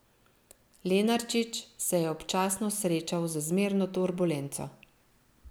Lenarčič se je občasno srečal z zmerno turbulenco.